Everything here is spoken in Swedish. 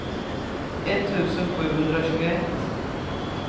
etttusen sjuhundratjugoett